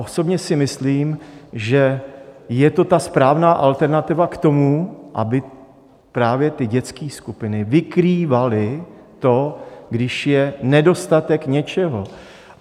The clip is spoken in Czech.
Osobně si myslím, že je to ta správná alternativa k tomu, aby právě ty dětské skupiny vykrývaly to, když je nedostatek něčeho.